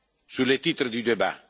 Sur le titre du débat?